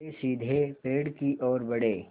वे सीधे पेड़ की ओर बढ़े